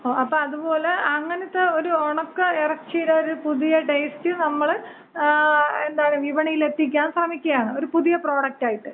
ഓ, അപ്പൊ അതുപോല അങ്ങനത്ത ഒരു ഒണക്ക എറച്ചീര ഒരു പുതിയ ടേസ്റ്റ് നമ്മള് ങാ വിപണിയിലെത്തിക്കാൻ ശ്രമിക്കുകയാണ്. ഒരു പുതിയ പ്രോഡക്റ്റായിട്ട്.